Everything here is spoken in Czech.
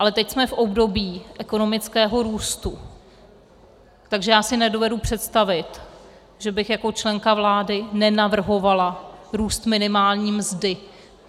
Ale teď jsme v období ekonomického růstu, takže já si nedovedu představit, že bych jako členka vlády nenavrhovala růst minimální mzdy.